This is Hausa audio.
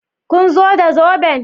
Kun zo da zoben?